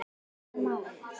Svo einfalt er málið ekki.